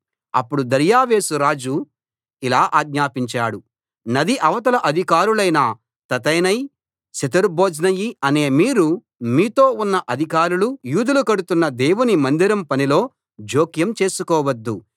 అప్పుడు దర్యావేషు రాజు ఇలా ఆజ్ఞాపించాడు నది అవతల అధికారులైన తత్తెనై షెతర్బోజ్నయి అనే మీరు మీతో ఉన్న అధికారులు యూదులు కడుతున్న దేవుని మందిరం పనిలో జోక్యం చేసుకోవద్దు